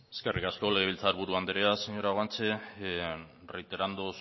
eskerrik asko legelbiltzaburu andrea señora guanche reiterando